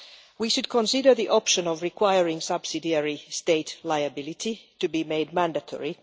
We should consider the option of requiring subsidiary state liability to be made mandatory.